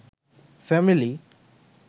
family